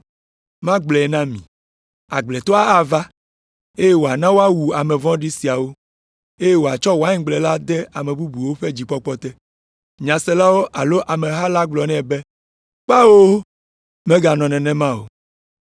Magblɔe na mi. Agbletɔa ava, eye wòana woawu ame vɔ̃ɖi siawo, eye wòatsɔ waingble la de ame bubuwo ƒe dzikpɔkpɔ te.” Nyaselawo alo ameha la gblɔ nɛ be, “Kpao, meganɔ nenema o!”